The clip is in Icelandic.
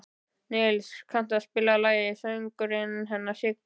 Nils, kanntu að spila lagið „Söngurinn hennar Siggu“?